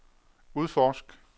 udforsk